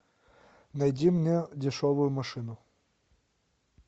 найди мне дешевую машину